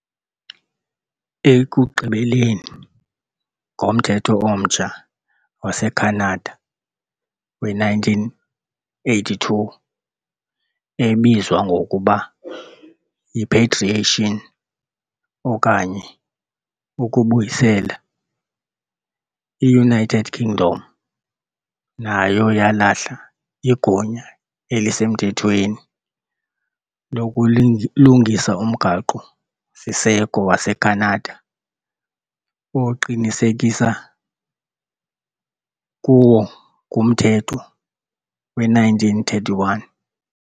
Ekugqibeleni, ngoMthetho omtsha waseKhanada we-1982, ebizwa ngokuba yi-"patriation" okanye "ukubuyisela", i- United Kingdom nayo yalahla igunya elisemthethweni lokulungisa umgaqo-siseko waseKhanada, oqinisekiswa kuwo nguMthetho we-1931.